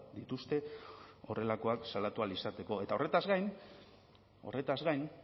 dituzte horrelakoak salatu ahal izateko eta horretaz gain horretaz gain